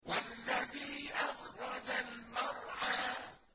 وَالَّذِي أَخْرَجَ الْمَرْعَىٰ